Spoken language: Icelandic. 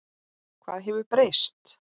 Hvað hefur breyst?